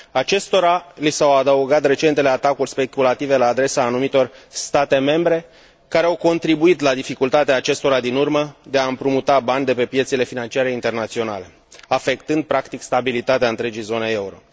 Acestora li s au adăugat recentele atacuri speculative la adresa anumitor state membre care au contribuit la dificultatea acestora din urmă de a împrumuta bani de pe piețele financiare internaționale, afectând, practic, stabilitatea întregii zone euro.